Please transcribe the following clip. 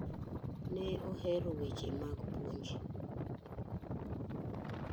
Ne ohero weche mag puonj.